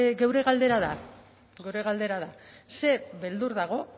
geure galdera da geure galdera da zer beldur dago